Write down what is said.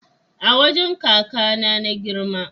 A wajan kakAna na girma